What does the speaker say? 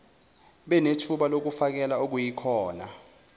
benethuba lokufakela okuyikhona